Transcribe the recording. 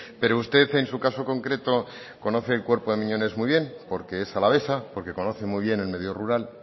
pero usted en su caso concreto conoce el cuerpo de miñones muy bien porque es alavesa porque conoce muy bien el medio rural